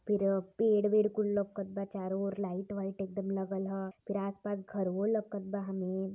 फिर पेड़ वेड कुल लोकत बा चारो ओर लाइट वाइट एकदम लागल ह फिर आस पास घरवो लोकत बा |